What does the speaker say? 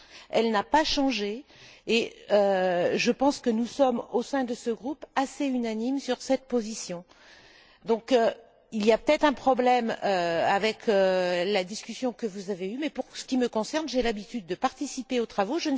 Elle n'a pas changé. Je pense que nous sommes, au sein de ce groupe, assez unanimes sur cette position. Donc, il y a peut être un problème avec la discussion que vous avez eue, mais pour ce qui me concerne, j'ai l'habitude de participer aux travaux.